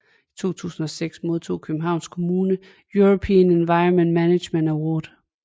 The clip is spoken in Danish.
I 2006 modtog Københavns Kommune European Environmental Management Award